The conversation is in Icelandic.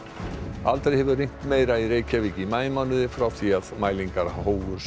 aldrei hefur rignt meira í Reykjavík í maímánuði frá því að mælingar hófust